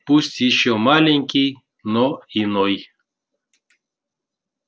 пусть ещё маленький но иной